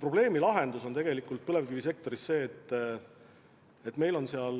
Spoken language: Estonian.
Probleemi raskus põlevkivisektoris on tegelikult see, et meil on seal